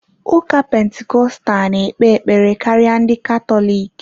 Ụka Pentikọstal na-ekpe ekpere karịa ndị Katọlik.